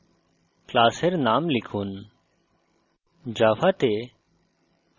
name text box class name লিখুন